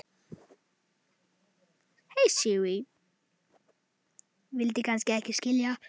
vildi kannski ekki skilja